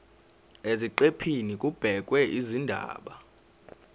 eziqephini kubhekwe izindaba